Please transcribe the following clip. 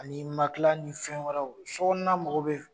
Ani makila ni fɛn wɛrɛw sokɔnona mɔgɔ be min